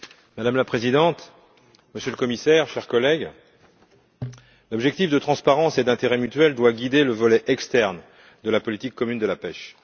Madame la Présidente, Monsieur le Commissaire, chers collègues, l'objectif de transparence et d'intérêt mutuel doit guider le volet externe de la politique commune de la pêche.